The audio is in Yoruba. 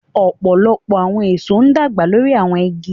Many fruits grow on trees